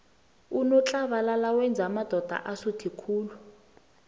unotlabalala wenza amadoda asuthe khulu